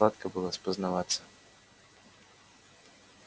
сладко было спознаваться